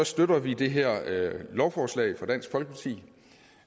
støtter vi det her lovforslag fra dansk folkeparti